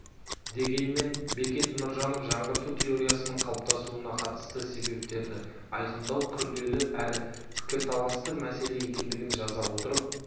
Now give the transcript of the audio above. дегенмен бекет нұржанов жаңғырту теориясының қалыптасуына қатысты себептерді айқындау күрделі әрі пікірталасты мәселе екендігін жаза отырып